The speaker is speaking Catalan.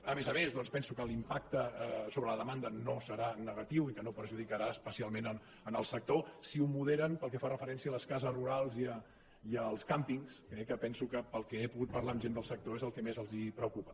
a més a més doncs penso que l’impacte sobre la demanda no serà negatiu i que no perjudicarà especialment el sector si ho moderen pel que fa referència a les cases rurals i als càmpings eh que penso que pel que he pogut parlar amb gent de sector és el que més els preocupa